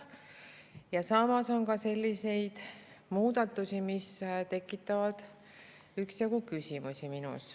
Ja samas on ka selliseid muudatusi, mis tekitavad minus üksjagu küsimusi.